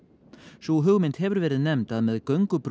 sú hugmynd hefur verið nefnd að með